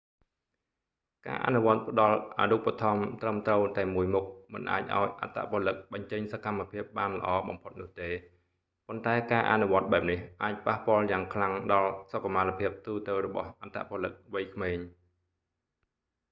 ការអនុវត្តផ្ដល់អារូបត្ថម្ភត្រឹមត្រូវតែមួយមុខ មិនអាចឱ្យអត្តពលិកបញ្ចេញសកម្មភាពបានល្អបំផុតនោះទេ ប៉ុន្តែការអនុវត្តបែបនេះ អាចប៉ះពាល់យ៉ាងខ្លាំងដល់សុខុមាលភាពទូទៅរបស់អត្តពលិកវ័យក្មេង